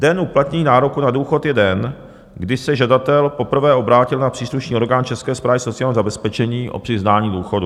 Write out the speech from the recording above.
Den uplatnění nároku na důchod je den, kdy se žadatel poprvé obrátil na příslušný orgán České správy sociálního zabezpečení o přiznání důchodu.